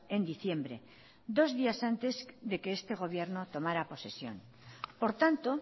en diciembre dos días antes de que este gobierno tomara posesión por tanto